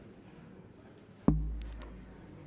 her